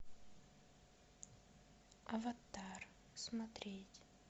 аватар смотреть